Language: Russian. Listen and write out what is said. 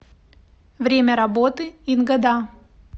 время работы ингода